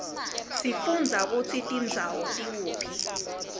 siaundza kutsi tindzawo tikuphi